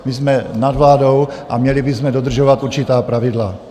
My jsme nad vládou a měli bychom dodržovat určitá pravidla.